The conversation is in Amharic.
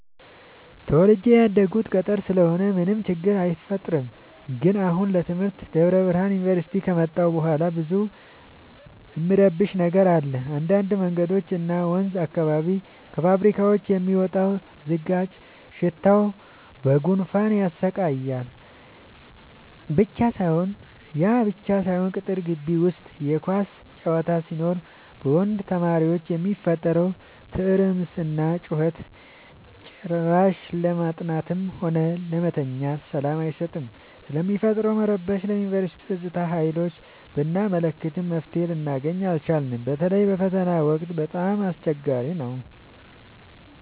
ተወልጄ የደኩት ገጠር ስለሆነ ምንም ችግር አይፈጠርም። ግን አሁን ለትምህርት ደብረብርሃን ዮንቨርሲቲ ከመጣሁ በኋላ ብዙ እሚረብሽ ነገር አለ እንዳድ መንገዶች እና ወንዝ አካባቢ ከፋብካዎች የሚወጣው ዝቃጭ ሽታው በጉንፋን ያሰቃያል። ያብቻ ሳይሆን ቅጥር ጊቢ ውስጥ የኳስ ጨዋታ ሲኖር በወንድ ተማሪዎች የሚፈጠረው ትርምስና ጩኸት ጭራሽ ለማጥናትም ሆነ ለመተኛት ሰላም አይሰጥም። ስለሚፈጠረው መረበሽ ለዮንቨርስቲው ፀጥታ ሀይሎች ብናመለክትም መፍትሔ ልናገኝ አልቻልም። በተለይ በፈተና ወቅት በጣም አስቸገሪ ነው።